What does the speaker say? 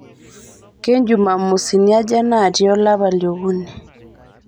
kenjumamosini aja naatii olapa liokuni